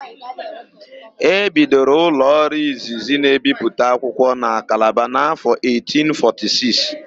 E bidoro ụlọọrụ izizi na-ebipụta akwụkwọ na Kalaba n'áfọ̀ 1846.